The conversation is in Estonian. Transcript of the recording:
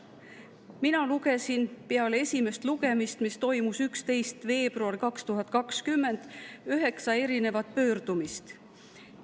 Mina lugesin, et pärast esimest lugemist, mis toimus 11. veebruaril 2020, üheksa pöördumist.